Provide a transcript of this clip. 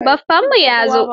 Baffanku ya zo?